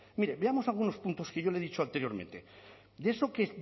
mire veamos algunos puntos que yo le he dicho anteriormente de eso que